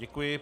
Děkuji.